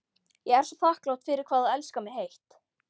Ég er svo þakklát fyrir hvað þú elskar mig heitt.